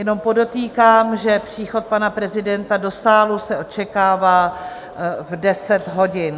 Jenom podotýkám, že příchod pana prezidenta do sálu se očekává v 10 hodin.